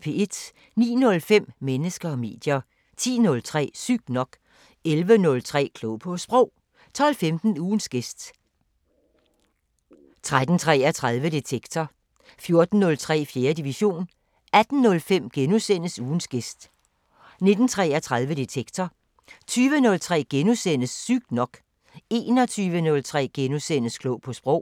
09:05: Mennesker og medier 10:03: Sygt nok 11:03: Klog på Sprog 12:15: Ugens gæst 13:33: Detektor 14:03: 4. division 18:05: Ugens gæst * 19:33: Detektor 20:03: Sygt nok * 21:03: Klog på Sprog *